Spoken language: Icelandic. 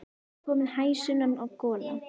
Það var komin hæg sunnan gola.